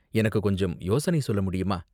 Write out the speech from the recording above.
எனக்கு கொஞ்சம் யோசனை சொல்ல முடியுமா?